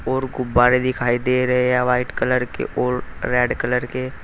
और गुब्बारे दिखाई दे रहे हैं व्हाइट कलर के और रेड कलर के।